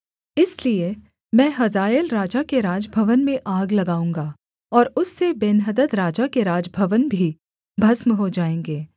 इसलिए मैं हजाएल राजा के राजभवन में आग लगाऊँगा और उससे बेन्हदद राजा के राजभवन भी भस्म हो जाएँगे